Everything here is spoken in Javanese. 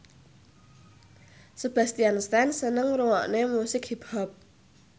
Sebastian Stan seneng ngrungokne musik hip hop